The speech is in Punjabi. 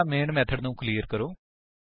ਪਹਿਲਾਂ ਮੇਨ ਮੇਥਡ ਨੂੰ ਕਲੀਅਰ ਕਰੋ